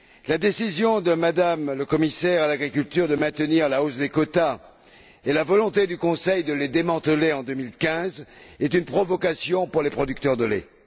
La décision de M me la commissaire à l'agriculture de maintenir la hausse des quotas et la volonté du Conseil de les démanteler en 2015 sont une provocation pour les producteurs de lait.